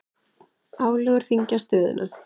Álögur þyngja stöðuna